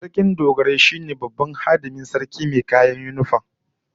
Sarkin Dogarai shine babban hadimin sarki mai kayan sarki wato yinifam